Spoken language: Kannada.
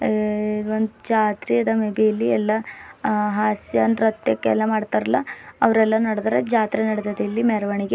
ಅ ಇಲ್ ಒಂದ್ ಜಾತ್ರೆ ಅದ ಮೇಬಿ ಎಲ್ಲಾ ಅ ಹಾಸ್ಯ ನೃತ್ಯಕ್ಕೆಲ್ಲ ಮಡ್ತಾರಲ್ಲ ಅವ್ರೆಲ್ಲಾ ನಡ್ದಾರ ಜಾತ್ರೆ ನಡ್ದಾರ ಇಲ್ಲಿ ಮೆರವಣಿಗೆ--